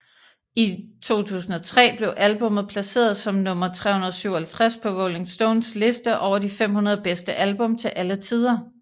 I 2003 blev albummet placeret som nummer 357 på Rolling Stones liste over de 500 bedste album til alle tider